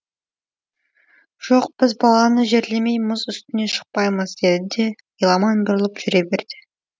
жоқ біз баланы жерлемей мұз үстіне шықпаймыз деді де еламан бұрылып жүре берді